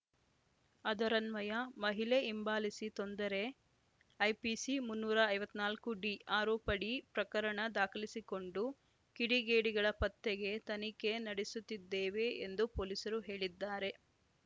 ಅದರನ್ವಯ ಮಹಿಳೆ ಹಿಂಬಾಲಿಸಿ ತೊಂದರೆ ಐಪಿಸಿ ಮುನ್ನೂರ ಐವತ್ತ್ ನಾಲ್ಕು ಡಿ ಆರೋಪಡಿ ಪ್ರಕರಣ ದಾಖಲಿಸಿಕೊಂಡು ಕಿಡಿಗೇಡಿಗಳ ಪತ್ತೆಗೆ ತನಿಖೆ ನಡೆಸುತ್ತಿದ್ದೇವೆ ಎಂದು ಪೊಲೀಸರು ಹೇಳಿದ್ದಾರೆ